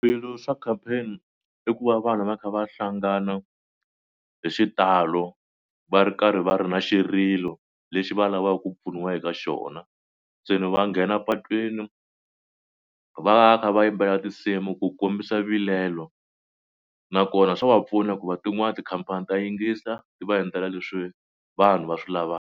Swilo swa campaign i ku va vanhu va kha va hlangana hi xitalo va ri karhi va ri na xirilo lexi va lavaka ku pfuniwa eka xona. Se ni va nghena patwini va va kha va yimbelela tinsimu ku kombisa vilelo nakona swa va pfuna hikuva tin'wani tikhampani ta yingisa ti va endlela leswi vanhu va swi lava.